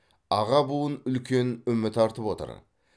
аға буын үлкен үміт артып отыр